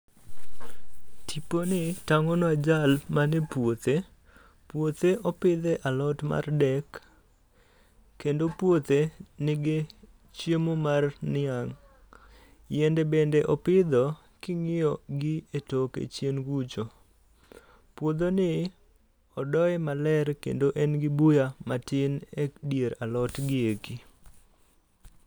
Tipo ni tangonwa jal man e puothe, puothe o pidhe alot mar dek kendo puothe ni gi chiemo mar niang yiende bende o pidho ka ingiyo gi e toke chien kucha puodho ni odoye maler kendo en gi buya matin e dier alot gi e ki